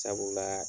Sabula